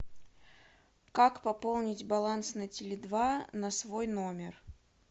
как пополнить баланс на теле два на свой номер